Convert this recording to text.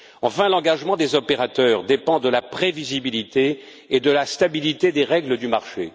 Enfin, l'engagement des opérateurs dépend de la prévisibilité et de la stabilité des règles du marché.